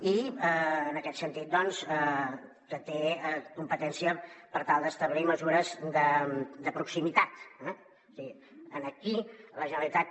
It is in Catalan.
i en aquest sentit té competència per tal d’establir mesures de proximitat eh és a dir aquí la generalitat